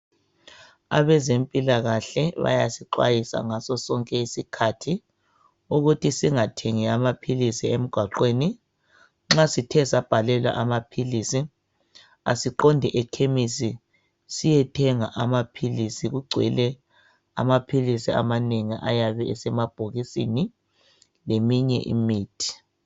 Abezempilakahle bayasixwayisa ngaso sonke isikhathi ukuthi singathengi amaphilizi emgwaqweni nxasithe sabhalelwa amaphilizi siqonde ekhemisi siyethenga amaphilizi amanengi ayabe esemabhokisini leminye imithi